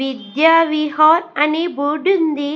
విద్య విహార్ అనే బోర్డు ఉంది.